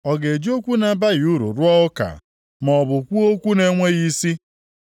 Ọ ga-eji okwu na-abaghị uru rụọ ụka, maọbụ kwuo okwu na-enweghị isi?